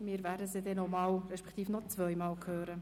Wir werden das Ensemble noch zwei weitere Male hören.